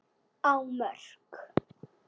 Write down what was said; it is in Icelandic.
á Mörk.